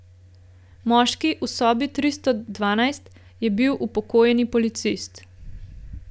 Moški v sobi tristo dvanajst je bil upokojeni policist.